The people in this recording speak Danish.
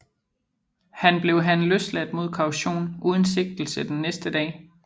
Han blev han løsladt mod kaution uden sigtelse den næste dag